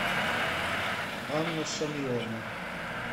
анна шамиловна